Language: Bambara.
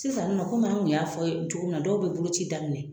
Sisan naɔ an kun y'a fɔ aw ye cogo min na dɔw be bolo ci daminɛ